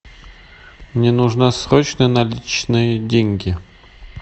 мне нужна срочно наличные деньги